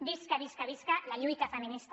visca visca visca la lluita feminista